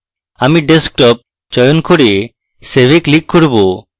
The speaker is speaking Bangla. আমি desktop চয়ন করে save এ click করব